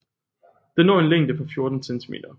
Den når en længde på 14 cm